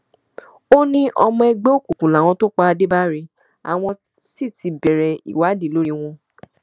ó ní ọmọ ẹgbẹ òkùnkùn làwọn tó pa adébárí àwọn sì ti bẹrẹ ìwádìí lórí wọn